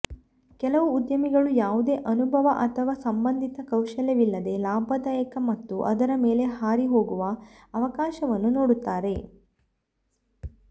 ಕೆಲವು ಉದ್ಯಮಿಗಳು ಯಾವುದೇ ಅನುಭವ ಅಥವಾ ಸಂಬಂಧಿತ ಕೌಶಲ್ಯವಿಲ್ಲದೆ ಲಾಭದಾಯಕ ಮತ್ತು ಅದರ ಮೇಲೆ ಹಾರಿ ಹೋಗುವ ಅವಕಾಶವನ್ನು ನೋಡುತ್ತಾರೆ